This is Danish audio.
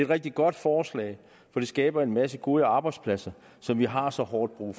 rigtig godt forslag for det skaber en masse gode arbejdspladser som vi har så hårdt brug